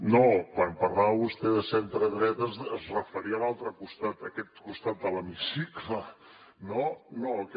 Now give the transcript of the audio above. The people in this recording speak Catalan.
no quan parlava vostè de centredreta es referia a l’altre costat a aquest costat de l’hemicicle no no a aquest